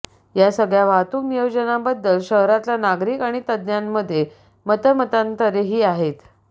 या सगळ्या वाहतूक नियोजनाबद्दल शहरातला नागरिक आणि तज्ज्ञांमध्ये मतमतांतरेही आहेत